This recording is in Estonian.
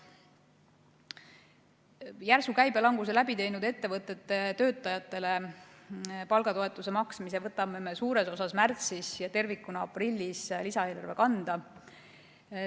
Järsu käibelanguse läbi teinud ettevõtete töötajatele palgatoetuse maksmise võtame me suures osas märtsis ja tervikuna aprillis lisaeelarve kanda.